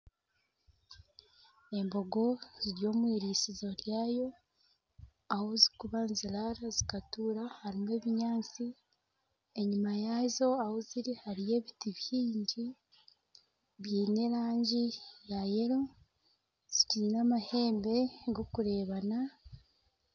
Embogo ziri omu eirisizo ryazo. Ahu zirikuraara zikatuura hariho ebinyaatsi. Enyima yaazo ahu ziri hariho ebiti bingi biine erangi ya kinekye. Zitaire amahembe g'okureebana.